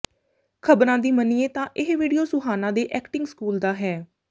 ਖਬਰਾਂ ਦੀ ਮੰਨੀਏ ਤਾਂ ਇਹ ਵੀਡੀਓ ਸੁਹਾਨਾ ਦੇ ਐਕਟਿੰਗ ਸਕੂਲ ਦਾ ਹੈ